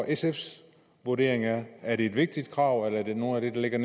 sfs vurdering er er det et vigtigt krav eller er det noget af det der ligger